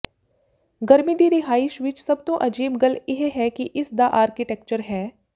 ਗਰਮੀ ਦੀ ਰਿਹਾਇਸ਼ ਵਿਚ ਸਭ ਤੋਂ ਅਜੀਬ ਗੱਲ ਇਹ ਹੈ ਕਿ ਇਸ ਦਾ ਆਰਕੀਟੈਕਚਰ ਹੈ